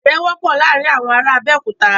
Adirẹ wọpọ laarin awọn ara Abeokuta